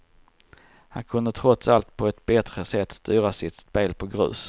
Han kunde trots allt på ett bättre sätt styra sitt spel på grus.